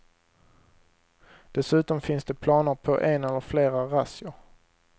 Dessutom finns det planer på en eller flera razzior.